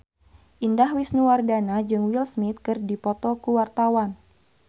Indah Wisnuwardana jeung Will Smith keur dipoto ku wartawan